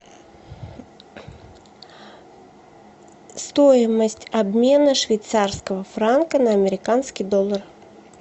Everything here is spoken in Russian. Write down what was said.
стоимость обмена швейцарского франка на американский доллар